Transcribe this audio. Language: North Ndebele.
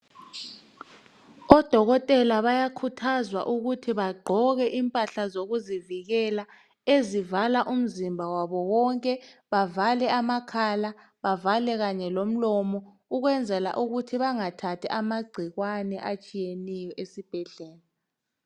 odokotela bayakhuthazwa ukuthi bagqoke impahla zokuzivikela ezivala umzimba wabo wonke bevale amakhala bevale kanye lomlomo ukwenzela ukuthi bangathathi amagcikwane atshiyeneyo esibhedlela